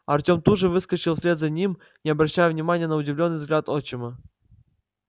артем тут же выскочил вслед за ним не обращая внимания на удивлённый взгляд отчима